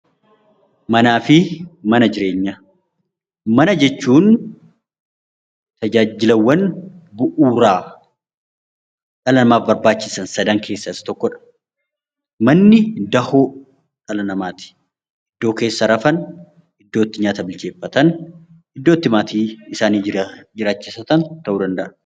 Mana jechuun tajaajilaawwan bu'uuraa dhala namaaaf barbaachisan sadan keessaa Isa tokkodha. Manni dahoo dhala namaati. Iddoo keessa rafan, nyaata itti bilcheeffatan, iddoo itti maatii jiraachifatan ta'uu danda'a .